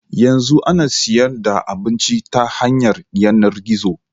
Yanzu ana siyan da abinci ta hanyar yanar gizo